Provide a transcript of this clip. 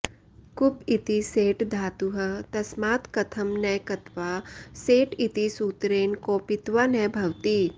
कुप् इति सेट् धातुः तस्मात् कथं न क्त्वा सेट् इति सूत्रेण कोपित्वा न भवति